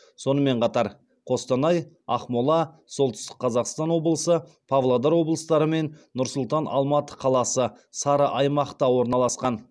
сонымен қатар қостанай ақмола солтүстік қазақстан облысы павлодар облыстары мен нұр сұлтан алматы қаласы сары аймақта орналасқан